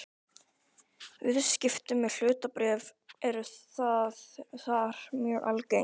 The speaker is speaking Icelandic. Viðskipti með hlutabréf eru þar mjög algeng.